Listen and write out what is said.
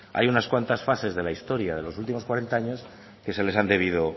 hay unas cuantas fases de la historia de los últimos cuarenta años que se les han debido